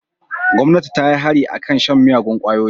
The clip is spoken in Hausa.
Gomnati ta yi hari a kan shan miyagun kwayoyi.